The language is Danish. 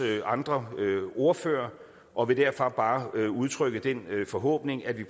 andre ordførere og vil derfor bare udtrykke den forhåbning at vi